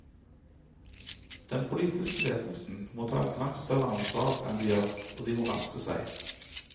Den politiske ledelsen må ta et langt større ansvar enn de gjør, og de må raske seg.